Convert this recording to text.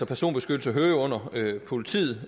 personbeskyttelse under politiet